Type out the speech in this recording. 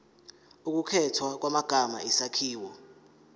ukukhethwa kwamagama isakhiwo